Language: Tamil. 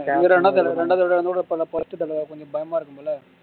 இது ரெண்டாவது தடவை ரெண்டாவது தடவை என்னோட அப first தடவை கொஞ்சம் பயமா இருக்கும்ல